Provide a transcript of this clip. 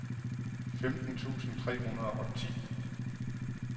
femten tusind tre hundrede og ti